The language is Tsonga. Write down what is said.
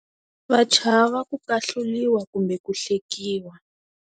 Va chava ku ahluriwa kumbe ku hlekiwa.